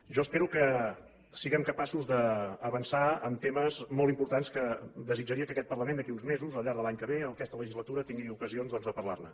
jo espero que siguem capaços d’avançar en temes molt importants que desitjaria que aquest parlament d’aquí a uns mesos al llarg de l’any que ve aquesta legislatura tingui ocasions doncs de parlar ne